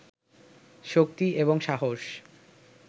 শক্তি এবং সাহস